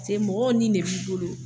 Paseke mɔgɔw ni ne b'i bolo